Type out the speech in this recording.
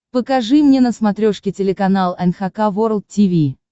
покажи мне на смотрешке телеканал эн эйч кей волд ти ви